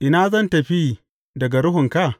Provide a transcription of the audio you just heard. Ina zan tafi daga Ruhunka?